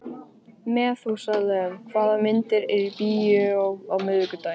Methúsalem, hvaða myndir eru í bíó á miðvikudaginn?